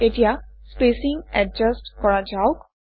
এতিয়া spacing adjust কৰা যাওক